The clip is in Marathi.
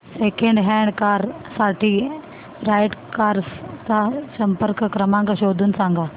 सेकंड हँड कार साठी राइट कार्स चा संपर्क क्रमांक शोधून सांग